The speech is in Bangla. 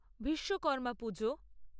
ভীস্মকর্মা পুজো